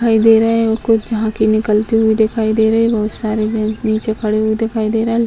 दिखाई दे रहे है और कुछ झांकी निकलती हुई दिखाई दे रही है बहुत सारे जेंट्स नीचे खड़े हुए दिखाई दे रहे है।